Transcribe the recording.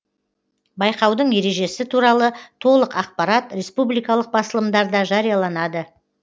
байқаудың ережесі туралы толық ақпарат республикалық басылымдарда жарияланады